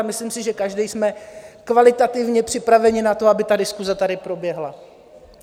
A myslím si, že každý jsme kvalitativně připraveni na to, aby ta diskuse tady proběhla.